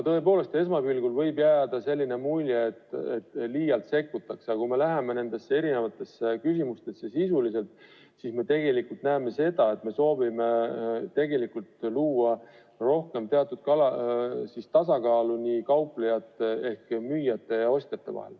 Tõepoolest, esmapilgul võib jääda mulje, et liialt sekkutakse, aga kui me süveneme nendesse küsimustesse sisuliselt, siis me näeme, et tegelikult on soov luua parem tasakaal kauplejate ehk müüjate ja ostjate vahel.